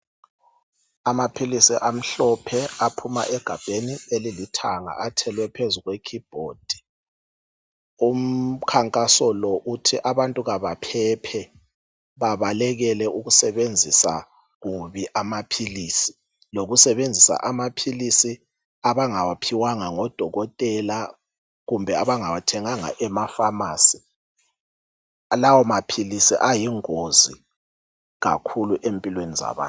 Amaphilisi amhlophe aphuma egabheni elilithanga athelwe phezu kwe keyboard. Umkhankaso lo uthi abantu kabaphephe babalekele ukusebenzisa kubi amaphilisi lokusebenzisa amaphilisi abangawaphiwanga ngoDokotela kumbe abangawathenganga ema phamarcy. Lawo maphilisi ayingozi kakhulu empilweni zabantu.